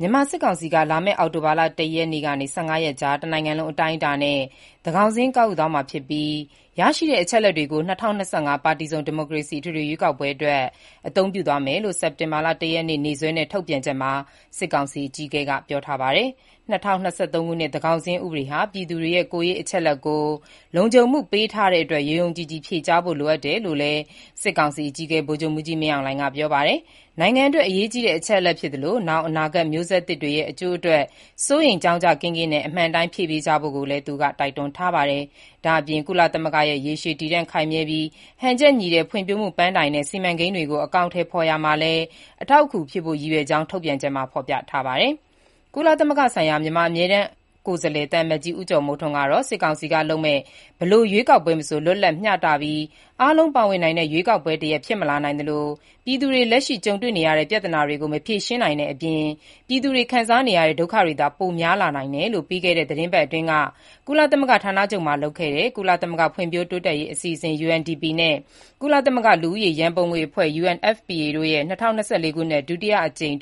မြန်မာစစ်ကောင်စီက လာမယ့်အောက်တိုဘာ ၁ ရက်ကနေ ၁၅ ရက်ကြား တနိုင်ငံလုံးအတိုင်းအတာနဲ့ သန်းခေါင်စာရင်း ကောက်ယူသွားမှာဖြစ်ပြီး ရရှိတဲ့အချက်အလက်တွေကို ၂၀၂၅ ပါတီစုံ ဒီမိုကရေစီ အထွေထွေရွေးကောက်ပွဲအတွက် အသုံးပြုသွားမယ်လို့မနေ့ စက်တင်ဘာ ၁ ရက်နေ့ ရက်စွဲနဲ့ ထုတ်ပြန်ချက်မှာ စစ်ကောင်စီအကြီးအကဲက ပြောပါတယ်။ ၂၀၂၃ ခုနှစ် သန်းခေါင်းစာရင်း ဥပဒေဟာ ပြည်သူတွေရဲ့ ကိုယ်ရေးအချက်အလက်ကို လုံခြုံမှုပေးထားတဲ့အတွက် ယုံယုံကြည်ကြည် ဖြေကြားဖို့လိုအပ်တယ်လို့လည်း စစ်ကောင်စီအကြီးအကဲ ဗိုလ်ချုပ်မှူးကြီး မင်းအောင်လှိုင်က ပြောပါတယ်။ နိုင်ငံအတွက် အရေးကြီးတဲ့ အချက်အလက်ဖြစ်သလို နောင်အနာဂတ်မျိုးဆက်သစ်တွေရဲ့ အကျိုးအတွက် စိုးရိမ်ကြောင့်ကြစိတ်ကင်းကင်းနဲ့ အမှန်အတိုင်းဖြေပေးကြဖို့ ကိုလည်း သူက ပြောထားပါတယ်။ ဒါ့အပြင် ကုလသမဂ္ဂရဲ့ ရေရှည်တည်တံ့ခိုင်မြဲပြီး၊ ဟန်ချက်ညီတဲ့ ဖွင့်ဖြိုးမှု ပန်းတိုင်နဲ့ စီမံကိန်းတွေကို အကောင်အထည်ဖော်ရာမှာလည်း အထောက်အကူဖြစ်ဖို့ ရည်ရွယ်ကြောင်း ထုတ်ပြန်ချက်မှာ ဖော်ပြထားပါတယ်။ ကုလသမဂ္ဂဆိုင်ရာ မြန်မာအမြဲတမ်း ကိုယ်စားလှယ် သံအမတ်ကြီး ဦးကျော်မိုးထွန်း ကတော့ စစ်ကောင်စီကလုပ်မယ့် ဘယ်လို ရွေးကောက်ပွဲမဆို လွတ်လပ်၊ မျှတပြီး အားလုံးပါဝင်နိုင်တဲ့ ရွေးကောက်ပွဲတရပ် ဖြစ်မလာနိုင်သလို၊ ပြည်သူတွေ လက်ရှိကြုံတွေနေရတဲ့ ပြဿနာတွေကို မဖြေရှင်းနိုင်တဲ့အပြင်၊ ပြည်သူတွေ ခံစားနေရတဲ့ ဒုက္ခတွေသာ ပိုများလာနိုင်တယ်လို့ ပြီးခဲ့တဲ့ သီတင်းပတ်အတွင်း ကုလသမဂ္ဂဌာနချုပ်မှာလုပ်တဲ့ ကုလသမဂ္ဂ ဖွံ့ဖြိုးရေးအစီအစဥ် (UNDP) နဲ့ ကုလသမဂ္ဂ လူဦးရေရန်ပုံငွေအဖွဲ့ (UNFPA) တို့ရဲ့ ၂၀၂၄ ခုနှစ်အတွက် ဒုတိယအကြိမ်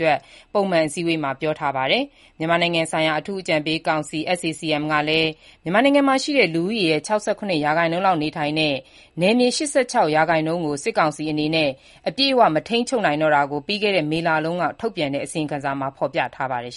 ပုံမှန်အစည်းအဝေးမှာ ပြောထားပါတယ်။ ကုလသမဂ္ဂရဲ့ မြန်မာနိုင်ငံဆိုင်ရာ အထူးအကြံပေးကောင်စီ (SAC-M) ကလည်း မြန်မာနိုင်ငံမှာရှိတဲ့ လူဦးရေရဲ့ ၆၇% လောက်နေထိုင်တဲ့၊ နယ်မြေ ၈၆% လောက်ကို စစ်ကောင်စီအနေနဲ့ အပြည့်အဝမထိန်းချုပ်နိုင်တော့တာကို ပြီးခဲ့ မေလတုန်းက ထုတ်ပြန်တဲ့ အစီရင်ခံစာမှာ ဖော်ပြထားပါတယ်